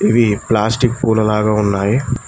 ఇవి ప్లాస్టిక్ పూల లాగా ఉన్నాయి.